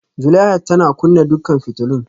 Zulaihat tana kunna dukkan fitulun